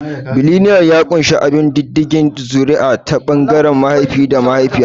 Bailinial ya ƙunshi bin diddigin zuri'a ta ɓangaren mahaifi da mahaifiya.